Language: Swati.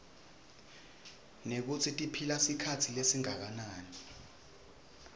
nekutsi tiphila sikhatsi lesinganani